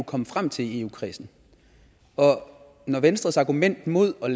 komme frem til i eu kredsen når venstres argument mod at